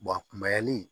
kunbayali